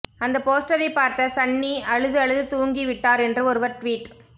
அந்த போஸ்டரை பார்த்த சன்னி அழுது அழுது தூங்கிவிட்டார் என்று ஒருவர் ட்வீட்